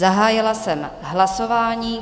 Zahájila jsem hlasování.